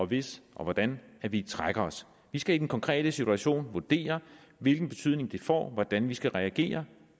hvis og hvordan vi trækker os vi skal i den konkrete situation vurdere hvilken betydning det får hvordan vi skal reagere